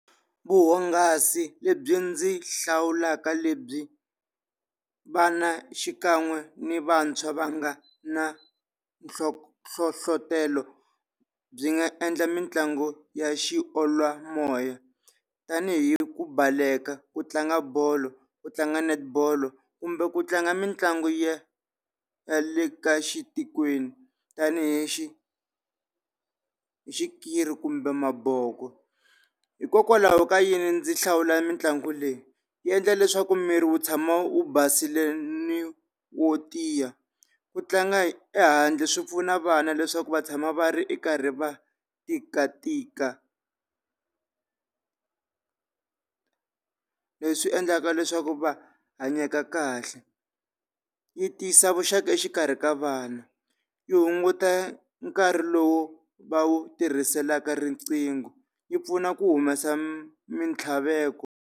Vuhungasi lebyi ndzi hlawulaka lebyi vana xikan'we ni vantshwa va nga na nhlohlotelo byi nga endla mitlangu ya xiolwa moya tanihi ku baleka, ku tlanga bolo, ku tlanga Netball kumbe ku tlanga mitlangu ya ya le ka xitikweni tanihi xikiri kumbe maboko. Hikokwalaho ka yini ndzi hlawula mitlangu leyi, yi endla leswaku miri wu tshama wu basile ni wo tiya ku tlanga ehandle swi pfuna vana leswaku va tshama va ri karhi va tikatika. Leswi endlaka leswaku va hanyeka kahle. Yi tiyisa vuxaka exikarhi ka vana, yi hunguta nkarhi lowu va wu tirhiselaka riqingho yi pfuna ku humesa mintlhaveko.